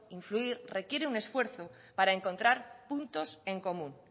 influir requiere un esfuerzo para encontrar puntos en común